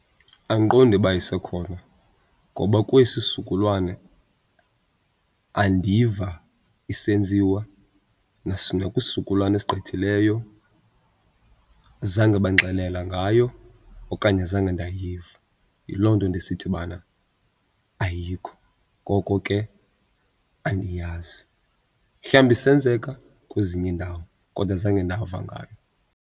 Andiqondi uba isekhona ngoba kwesi sizukulwane andiva isenziwa nakwisizukulwana esigqithileyo zange bandixelela ngayo okanye zange ndayiva. Yiloo nto ndisithi bana ayikho, ngoko ke andiyazi. Mhlawumbi isenzeka kwezinye iindawo kodwa zange ndava ngayo.